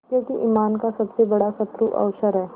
क्योंकि ईमान का सबसे बड़ा शत्रु अवसर है